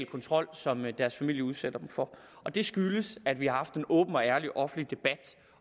kontrol som deres familie udsætter dem for og det skyldes at vi har haft en åben og ærlig offentlig debat